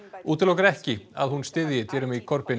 útilokar ekki að hún styðji Jeremy